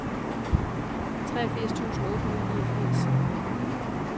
treogfirs tusind otte hundrede og niogfirs